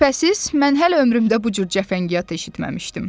Şübhəsiz, mən hələ ömrümdə bu cür cəfəngiyat eşitməmişdim.